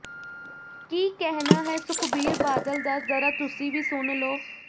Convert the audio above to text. ਕੀ ਕਹਿਣਾ ਹੈ ਸੁਖਬੀਰ ਬਾਦਲ ਦਾ ਜ਼ਰਾ ਤੁਸੀਂ ਵੀ ਸੁਣ ਲਓ